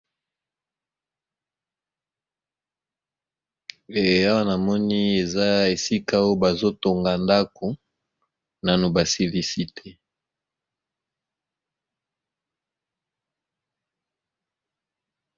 Eh awa na moni eza esika oyo bazo tonga ndako nano ba silisi te.